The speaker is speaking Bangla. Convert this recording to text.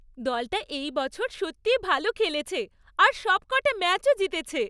দলটা এই বছর সত্যি ভালো খেলেছে আর সবকটা ম্যাচও জিতেছে।